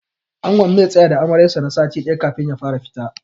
Angon zai tsaya da Amaryar sa na sati ɗaya kafin ya fara fita.